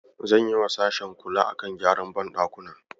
Zan yiwa sashen kula a kan gyaran banɗakuna